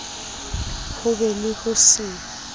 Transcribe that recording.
ho be le ho se